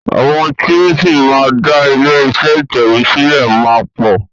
Àwọn tí o ṣì máa dá ilé iṣé ìtẹ̀wé sílẹ̀ máa pọ̀.